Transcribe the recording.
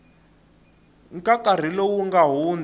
ka nkarhi lowu nga hundza